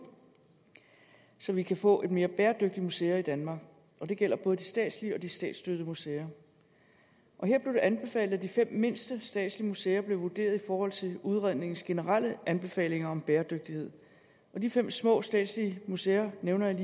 så vi kan få mere bæredygtige museer i danmark det gælder både de statslige og de statsstøttede museer her blev det anbefalet at de fem mindste statslige museer blev vurderet i forhold til udredningens generelle anbefalinger om bæredygtighed og de fem små statslige museer nævner jeg